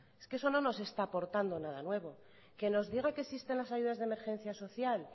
es que eso no nos está aportando nada nuevo que nos diga que existen las ayudas de emergencia social